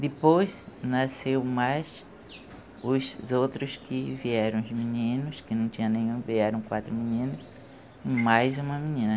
Depois nasceu mais os outros que vieram os meninos, que não tinha nenhum, vieram quatro meninos e mais uma menina.